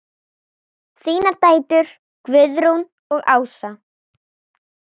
Þínar dætur, Guðrún og Ása.